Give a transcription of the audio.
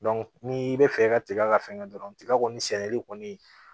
ni i bɛ fɛ i ka tiga ka fɛn kɛ dɔrɔn tiga kɔni sɛnɛli kɔni